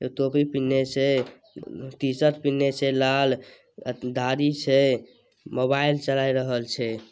एक टोपी पिन्ने छै टी-शर्ट पिन्ने छै लाल दाढ़ी छै मोबाइल चलाए रहल छै।